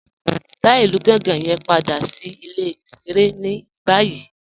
Dá ilù Gànga yẹn padà sí ilẹ̀-ìṣẹ̀rẹ̀ ni bayìí